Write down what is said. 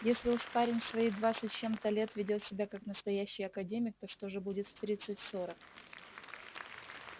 если уж парень в свои двадцать с чем-то лет ведёт себя как настоящий академик то что же будет в тридцать-сорок